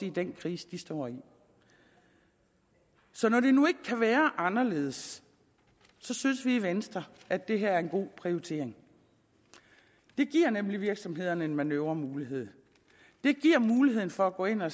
i den krise de står i så når det nu ikke kan være anderledes synes vi i venstre at det her er en god prioritering det giver nemlig virksomhederne en manøvremulighed det giver muligheden for at gå ind og